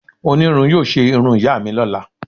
Onirun yóò se irún iya mi lọla.